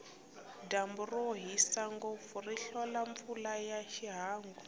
dyambu rohisa ngopfu ri hlola mpfula ya ihangu